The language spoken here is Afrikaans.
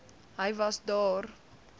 hy was daar